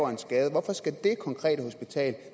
en skade hvorfor skal det konkrete hospital